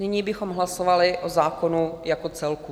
Nyní bychom hlasovali o zákonu jako celku.